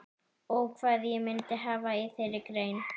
Og hvað ég myndi hafa í þeirri grein?